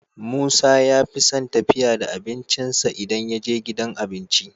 Musa yafison tafiya da abincin sa idan yaje gidan abinci